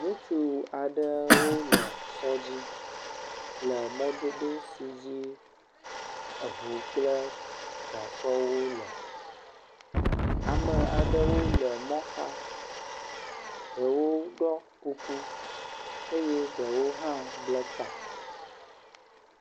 Ŋutsu aɖewo le sɔdzi le mɔdodo si dzi eŋu kple gasɔwo le. Ame aɖewo le mɔ xa, ɖewo ɖɔ kuku eye ɖewo hã ble ta.